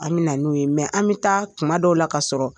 An bɛ na n'u ye mɛ an bɛ taa kuma dɔw la ka sɔrɔ